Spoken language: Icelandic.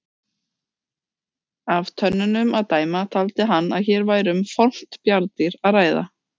Af tönnunum að dæma taldi hann að hér væri um fornt bjarndýr að ræða.